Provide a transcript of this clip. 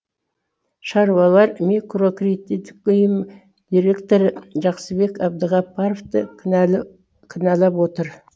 шаруалар микрокредиттік ұйым директоры жақсыбек әбдіғаппаровты кінәлап отыр